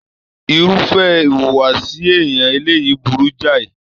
Irúfẹ́ ìwùwàsi èèyàn eleyii burú jai